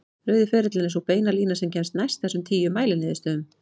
Rauði ferillinn er sú beina lína sem kemst næst þessum tíu mæliniðurstöðum.